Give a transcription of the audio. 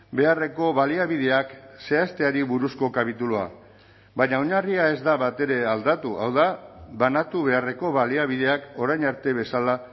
beharreko baliabideak zehazteari buruzko kapitulua baina oinarria ez da batere aldatu hau da banatu beharreko baliabideak orain arte bezala